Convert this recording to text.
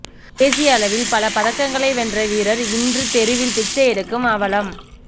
தேசிய அளவில் பல பதக்கங்களை வென்ற வீரர் இன்று தெருவில் பிச்சையெடுக்கும் அவலம்